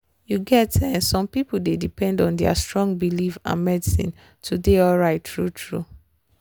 you get um some people dey depend on their strong belief and medicine to dey alright true-true